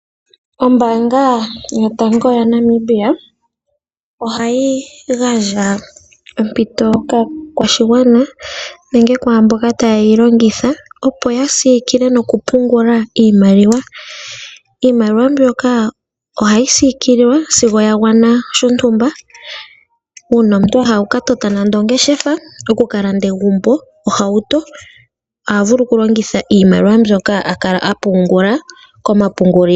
Ombaanga yotango yopashigwana ohayi gandja ompito kaakwashigwana nenge kwaa mboka taye yi longitha opo ya siikile nokupungula iimaliwa. Iimaliwa mbyoka ohayi siikilwa sigo ya gwana shontumba. Uuna omuntu a hala okukalanda ohauto nenge egumbo oha vulu okulongitha iimaliwa mbyoka a kala a pungula komapungulilo.